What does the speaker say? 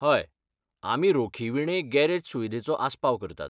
हय, आमी रोखीविणे गॅरेज सुविधेचो आस्पाव करतात.